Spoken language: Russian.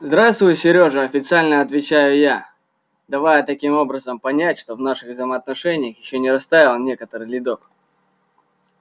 здравствуй серёжа официально отвечаю я давая таким образом понять что в наших взаимоотношениях ещё не растаял некоторый ледок